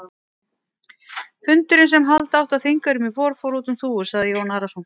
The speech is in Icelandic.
Fundurinn sem halda átti á Þingeyrum í vor, fór út um þúfur, sagði Jón Arason.